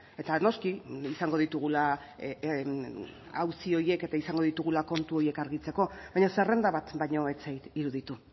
eta noski izango ditugula auzi horiek eta izango ditugula kontu horiek argitzeko baina zerrenda bat baino ez zait iruditu